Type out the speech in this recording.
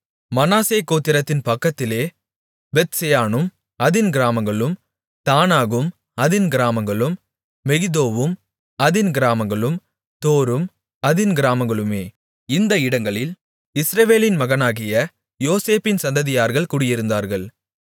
மனாசே கோத்திரத்தின் பக்கத்திலே பெத்செயானும் அதின் கிராமங்களும் தானாகும் அதின் கிராமங்களும் மெகிதோவும் அதின் கிராமங்களும் தோரும் அதின் கிராமங்களுமே இந்த இடங்களில் இஸ்ரவேலின் மகனாகிய யோசேப்பின் சந்ததியர்கள் குடியிருந்தார்கள்